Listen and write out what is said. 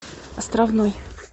островной